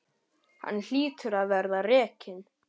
Hann hlýtur að verða rekinn.